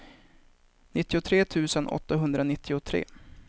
nittiotre tusen åttahundranittiotre